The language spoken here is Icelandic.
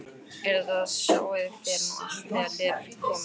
En þetta sjáið þér nú allt þegar þér komið.